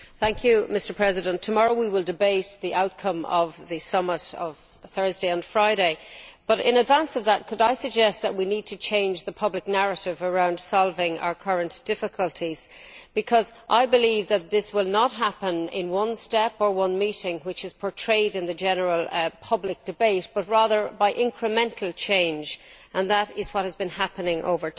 Mr President, tomorrow we will debate the outcome of the summit of Thursday and Friday, but in advance of that could I suggest that we need to change the public narrative around solving our current difficulties, because I believe that this will not happen in one step or one meeting, which is what is portrayed in the general public debate, but rather by incremental change, which is what has been happening over time.